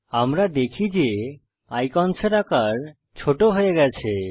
আমরা দেখি যে আইকন্সের আকার ছোট হয়ে গেছে